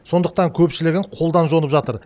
сондықтан көпшілігін қолдан жонып жатыр